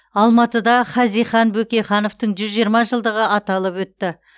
алматыда хазихан бөкейхановтың жүз жиырма жылдығы аталып өтті